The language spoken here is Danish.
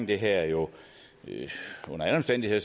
det her under alle omstændigheder